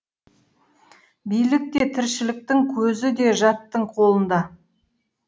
билік те тіршіліктің көзі де жаттың қолында